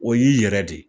O y'i yɛrɛ de ye